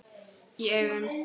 Í augum